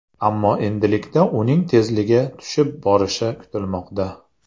Ammo endilikda uning tezligi tushib borishi kutilmoqda.